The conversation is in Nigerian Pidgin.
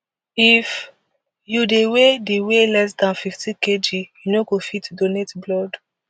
if you dey weigh dey weigh less dan fiftykg you no go fit donate blood